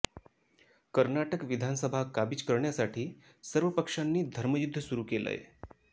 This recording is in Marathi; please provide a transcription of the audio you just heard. कर्नाटक विधानसभा काबिज करण्यासाठी सर्व पक्षांनी धर्मयुद्ध सुरू केलंय